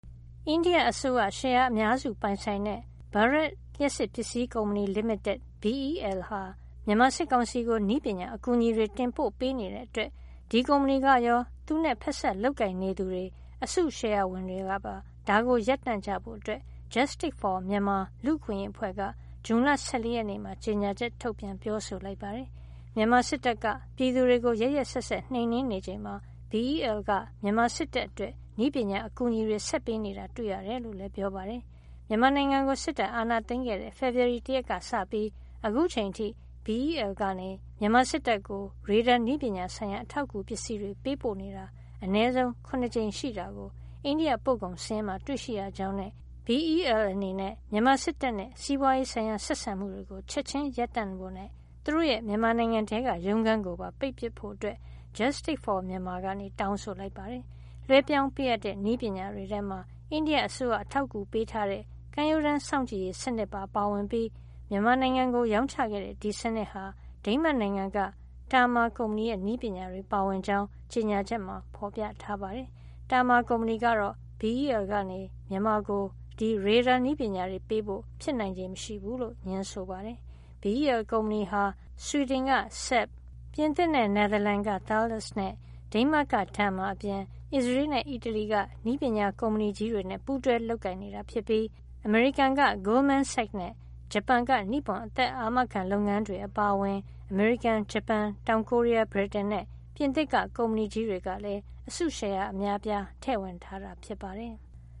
အိန္ဒိယအစိုးရ ရှယ်ယာအများစုပိုင်ဆိုင်တဲ့ Bharat လျှပ်စစ်ပစ္စည်းကုမ္ပဏီလိမိတက် BEL ဟာ မြန်မာစစ်ကောင်စီ ကို နည်းပညာ အကူညီတွေ တင်ပို့ပေးနေတဲ့ အတွက် ဒီကုမ္ပဏီ ကရော သူနဲ့ ဖက်စပ်လုပ်ကိုင်နေသူတွေ အစုရှယ်ယာဝင်တွေကပါ ဒါကို ရပ်တန့်ကြဖို့ Justic for Myanmar လူ့အခွင့်ရေး အဖွဲ့က ဇွန်လ ၁၄ ရက်နေ့မှာ ကြေညာချက် ထုတ်ပြန် ပြောဆိုလိုက်ပါတယ်။ မြန်မာစစ်တပ်က ပြည်သူတွေကို ရက်ရက်စက်စက် နှိမ်နင်းနေချိန်မှာ BEL က မြန်မာစစ်တပ်အတွက် နည်းပညာ အကူညီတွေ ဆက်ပေးနေတာ တွေ့ရတယ် လို့လည်း ပြောပါတယ်။ မြန်မာနိုင်ငံကို စစ်တပ်အာဏာသိမ်းခဲ့တဲ့ ဖေဖေါ်ဝါရီလ ၁ ရက်နေ့က စပြီး အခု အချိန်အထိ BEL ကနေ မြန်မာစစ်တပ်ကို ရေဒါနည်းပညာ ဆိုင်ရာ အထောက်အကူပစ္စည်းတွေ ပေးပို့နေတာ အနည်းဆုံး ၇ ကြိမ်ရှိနေတာကို အိန္ဒိယ ပို့ကုန် စာရင်းမှာ တွေ့ရှိရကြောင်းနဲ့ BEL အနေနဲ့ မြန်မာစစ်တပ်နဲ့ စီးပွားရေးဆိုင်ရာ ဆက်ဆံမှုတွေ ချက်ချင်းရပ်ပစ်ဖို့နဲ့ သူတို့ရဲ့ မြန်မာနိုင်ငံထဲက ရုံးခန်းကိုပါ ပိတ်ပစ်ဖို့ Justic for Myanmar က တောင်းဆိုလိုက်ပါတယ်။ လွှဲပြောင်းပေးအပ်တဲ့ နည်းပညာတွေထဲမှာ အိန္ဒိယအစိုးရ အထောက်ကူပေးထားတဲ့ ကမ်းရိုးတန်း စောင့်ကြည့်စစ်ဆေးရေး စနစ်ပါ ပါဝင်ပြီး မြန်မာနိုင်ငံကို ရောင်းချခဲ့တဲ့ ဒီစံနစ်ဟာ ဒိန်းမတ်နိုင်ငံက Terma ကုမ္ပဏီရဲ့ နည်းပညာတွေပါဝင်ကြောင်း ကြေညာချက်မှာ ဖေါ်ပြထားပါတယ်။ Terma ကုမ္ပဏီကတော့ BEL ကနေ မြန်မာကို ရေဒါနည်းပညာ ပေးဖို့ ဖြစ်နိုင်ခြေမရှိဘူးလို့ ငြင်းဆိုပါတယ်။ BEL ကုမ္ပဏီဟာ ဆွီဒင်က SAAB ၊ ပြင်သစ်နဲ့ နယ်သာလန်က Thales နဲ့ ဒိန်းမတ်က Terma အပြင် အစ္စရေး နဲ့ အီတလီက နည်းပညာကုမ္ပဏီကြီးတွေနဲ့ ပူးတွဲလုပ်ကိုင်နေတာ ဖြစ်ပြီး အမေရိကန်က Goldman Sachs နဲ့ ဂျပန်က နိပွန်အသက်အာမခံ လုပ်ငန်းတွေ အပါအဝင် အမေရိကန်၊ ဂျပန်၊ တောင်ကိုရီးယား၊ ဗြိတိန် နဲ့ ပြင်သစ်က ကုမ္ပဏီကြီးတွေက လည်း အစုရှယ်ယာ အများအပြား ထည့်ဝင်ထားတာ ဖြစ်ပါတယ်။